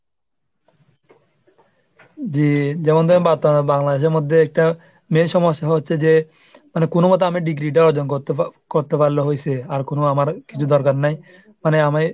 যে যেমন ধর বা~ আহ Bangladesh এর মধ্যে একটা main সমস্যা হচ্ছে যে মানে কোন মতে আমি degree টা হজম কর~ করতে পারলে হইসে। আর কোন আমার কিছু দরকার নেই। মানে আমি